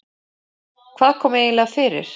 Hvað kom eiginlega fyrir?